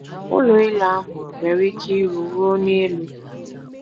Ụlọ elu ahụ nwere ike iru ruo n’elu.